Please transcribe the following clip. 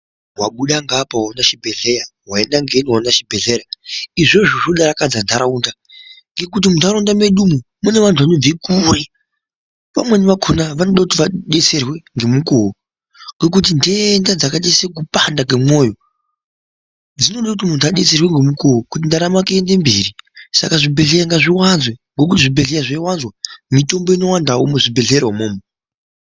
Wabuda ngeapa waona chibhehlera, waenda ngeino waona chibhelera izvozvo zvinodakadza nharaunda ngekuti munharaunda mwedu umwu munevantu vanobve kure amweni akona anoda kuti adetserwe ngemukuwo ngekuti nhenda dzakaite sekupanda kwemoyo dzinode kuti muntu adetserwe ngemukuwo kuti ndaramo yake iyende mberi, saka zvibhehlera ngazviwanzwe, ngokuti zvibhehlra zveiwanzwa mitombo inowandawo muzvibhehlera umwomwo.